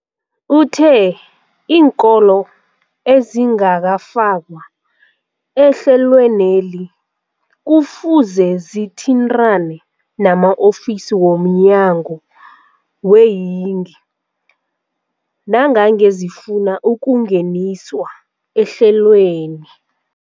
Uthe iinkolo ezingakafakwa ehlelweneli kufuze zithintane nama-ofisi wo mnyango weeyingi nangange zifuna ukungeniswa ehlelweni.